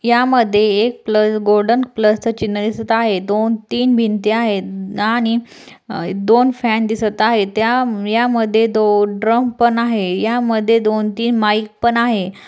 या मध्ये एक प्लस गोल्डन प्लसच चिन्ह दिसत आहे दोन तीन भिंत्या आहेत आणि अ दोन फॅन दिसत आहेत. त्या या मध्ये दो ड्रम पण आहे. या मध्ये दोन तीन माइक पण आहे.